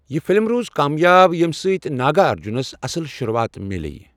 یہ فلم روٗز کامیاب ییٚمہِ سۭتۍ ناگارجنس اصٕل شروٗعات میٛلیٛیہ۔